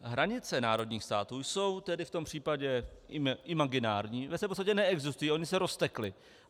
Hranice národních států jsou tedy v tom případě imaginární, ve své podstatě neexistují, ony se roztekly.